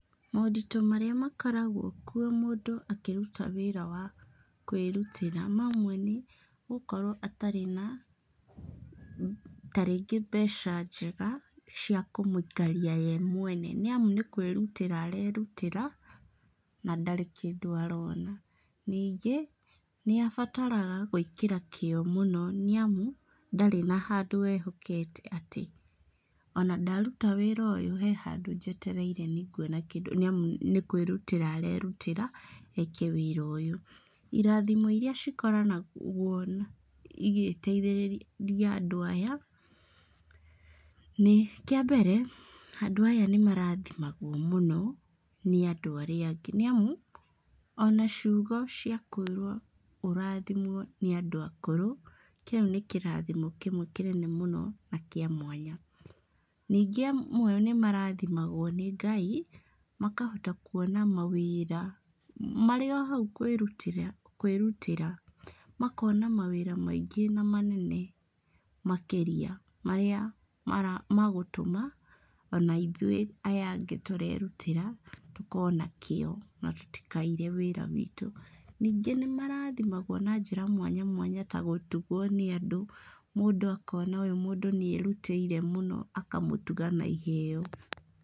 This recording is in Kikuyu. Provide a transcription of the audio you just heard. Moritũ marĩa makoragwo kuo mũndũ akĩruta wĩra wa kwĩrutĩra, mamwe nĩ gũkorwo atarĩ na tarĩngĩ mbeca njega, cia kũmũikaria ye mwene. Nĩ amu nĩ kwĩrutĩra arerutĩra na ndarĩ kĩndũ arona. Ningĩ, nĩ abataraga gwĩkĩra kĩo mũno nĩ amu, ndarĩ na handũ ehokete atĩ ona ndaruta wĩra ũyũ he handũ njetereire nĩ nguona kĩndũ nĩamu nĩ kwĩrutĩra arerutĩra eke wĩra ũyũ. Irathimo irĩa cikoranagwo igĩteithĩrĩria andũ aya, nĩ, kĩa mbere, andũ aya nĩ marathimagwo mũno nĩ andũ arĩa angĩ. Nĩamu, ona ciugo cia kũĩrwo ũrathimwo nĩ andũ akũrũ, kĩu nĩ kĩrathimo kĩmwe kĩnene mũno na kĩa mwanya. Ningĩ amwe nĩ marathimagwo nĩ Ngai, makahota kuona mawĩra, marĩ o hau kwĩrutĩra kwĩrutĩra makona mawĩra maingĩ na manene makĩria marĩa magũtũma ona ithuĩ aya angĩ tũrerutĩra tũkorwo na kĩo na tũtikaire wĩra witũ. Ningĩ nĩ marathimagwo na njĩra mwanya mwanya, ta gũtuguo nĩ andũ. Mũndũ akona ũyũ mũndũ nĩ erutĩire mũno akamũtuga na iheeo.